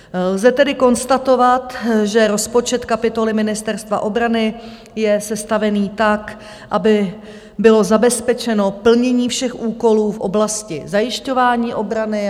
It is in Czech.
Lze tedy konstatovat, že rozpočet kapitoly Ministerstva obrany je sestavený tak, aby bylo zabezpečeno plnění všech úkolů v oblasti zajišťování obrany.